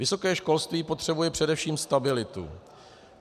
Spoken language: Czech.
Vysoké školství potřebuje především stabilitu.